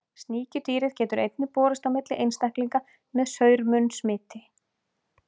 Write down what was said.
Sníkjudýrið getur einnig borist á milli einstaklinga með saur-munn smiti.